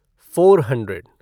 four hundred